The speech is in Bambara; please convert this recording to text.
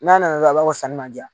N'a nana dɔrɔn a b'a fɔ sanni man diya.